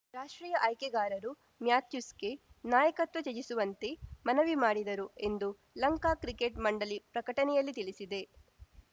ರಾಷ್ಟ್ರೀಯ ಆಯ್ಕೆಗಾರರು ಮ್ಯಾಥ್ಯೂಸ್‌ಗೆ ನಾಯಕತ್ವ ತ್ಯಜಿಸುವಂತೆ ಮನವಿ ಮಾಡಿದರು ಎಂದು ಲಂಕಾ ಕ್ರಿಕೆಟ್‌ ಮಂಡಳಿ ಪ್ರಕಟಣೆಯಲ್ಲಿ ತಿಳಿಸಿದೆ